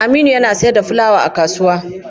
Aminu yana siyar da fulawa a kasuwa.